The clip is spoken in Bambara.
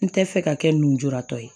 N tɛ fɛ ka kɛ njuratɔ ye